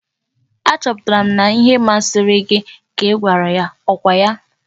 Achọpụtara m na ihe ahụ masịrị gị ka ị gwara ya. Ọ kwa ya?